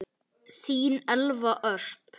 Þín Elva Ösp.